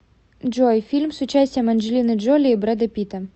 джой фильм с участием анджелины джоли и брэда питта